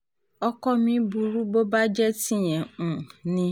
ọkọ mi burú bó bá jẹ́ tìyẹn um ni